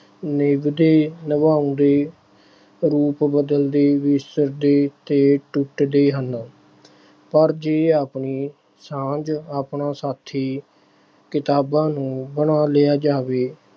ਨਿਭਦੇ, ਨਿਭਾਉਂਦੇ, ਰੂਪ ਬਦਲਦੇ, ਵਿਸਰਦੇ ਤੇ ਟੁੱਟਦੇ ਹਨ ਪਰ ਜੇ ਆਪਣੀ ਸਾਂਝ, ਆਪਣਾ ਸਾਥੀ ਕਿਤਾਬਾਂ ਨੂੰ ਬਣਾ ਲਿਆ ਜਾਵੇ